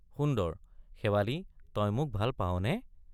সুন্দৰ—শেৱালি তই মোক ভাল পাৱনে?